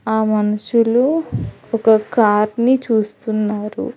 ఆ మనుషులు ఒక కార్ ని చూస్తున్నారు.